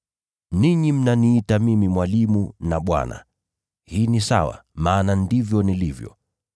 Ninyi mnaniita mimi ‘Mwalimu’ na ‘Bwana,’ hii ni sawa, maana ndivyo nilivyo.